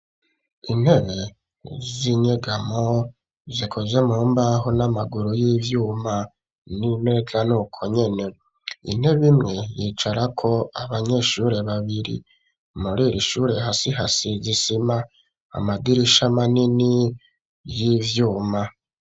Intebe z'inyegamo zikuze mu mbaho n'amaguru y'ivyuma n'imeza nuko nyene intebe imwe yicarako abanyeshuri babiri muriri shuri hasi hasize isima amadirisha manini y'ivyuma